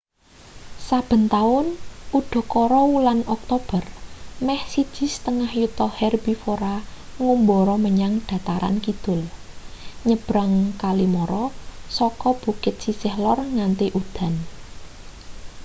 saben taun udakara wulan oktober meh 1,5 yuta herbivora ngumbara menyang dataran kidul nyabrang kali mara saka bukit sisih lor nganti udan